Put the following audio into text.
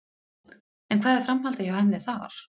En hvað er framhaldið hjá henni þar?